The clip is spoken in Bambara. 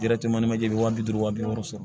ni manje bi wa bi duuru wa bi wɔɔrɔ sɔrɔ